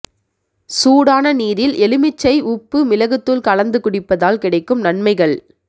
சூடான நீரில் எலுமிச்சை உப்பு மிளகுத்தூள் கலந்து குடிப்பதால் கிடைக்கும் நன்மைகள்